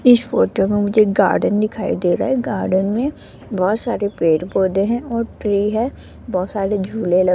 इस फोटो में मुझे एक गार्डन दिखाई दे रा है गार्डन में बहोत सारे पेड़-पौधे है और ट्री है बहोत सारे झूले ल --